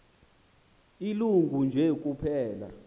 ilungu nje kuphela